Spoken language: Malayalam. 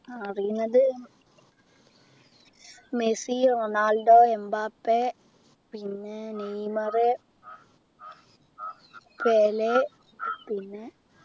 അറിയുന്നത് മെസ്സി റൊണാൾഡോ എമ്പാപ്പെ പിന്നെ നെയ്‌മർ പെലെ പിന്നെ